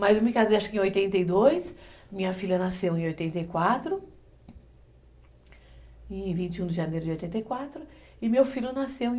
Mas eu me casei acho que em oitenta e dois, minha filha nasceu em oitenta e quatro, em vinte e um de janeiro de oitenta e quatro, e meu filho nasceu em